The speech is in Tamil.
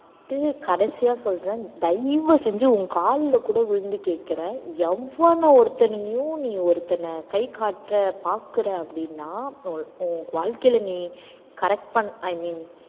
நான் கடைசியா சொல்றேன் தயவு செஞ்சு உன் கால்ல கூட விழுந்து கேட்கிறேன் எவன் ஒருத்தனையும் நீ ஒருத்தனை கை காட்டுற, பாக்குற அப்படின்னா உன் உன் வாழ்க்கையில நீ correct பண்~ i mean